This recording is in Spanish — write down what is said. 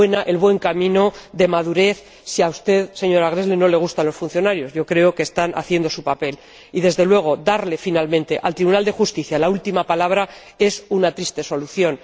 el buen camino de madurez, si a usted, señora Gräßle, no le gustan los funcionarios —yo creo que están haciendo su papel—. Y, desde luego, darle finalmente al Tribunal de Justicia la última palabra es una triste solución.